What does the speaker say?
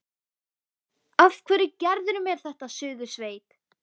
Af hverju gerirðu mér þetta, Suðursveit!